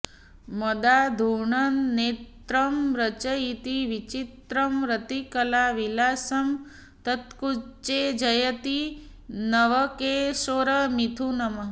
मदाघूर्णन्नेत्रं रचयति विचित्रं रतिकला विलासं तत्कुञ्जे जयति नवकैशोरमिथुनम्